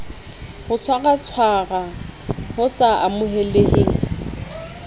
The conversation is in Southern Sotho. ho tshwaratshwara ho sa amoheleheng